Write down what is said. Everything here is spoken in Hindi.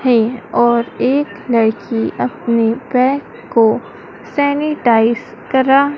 है और एक लड़की अपने पैर को सेनिटाइज करा--